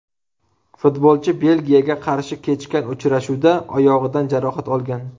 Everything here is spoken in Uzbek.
Futbolchi Belgiyaga qarshi kechgan uchrashuvda oyog‘idan jarohat olgan.